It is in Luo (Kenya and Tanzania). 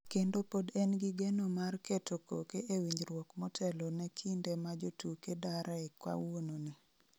kendo pod en gi geno mar keto koke e winjruok motelo ne kinde ma jotuke dare kawuono ni